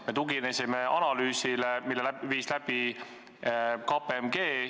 Me tuginesime analüüsile, mille viis läbi KPMG.